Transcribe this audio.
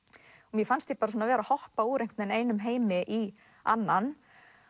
mér fannst ég vera að hoppa úr einum heimi í annan